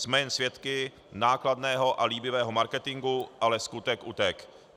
Jsme jen svědky nákladného a líbivého marketingu, ale skutek utek'.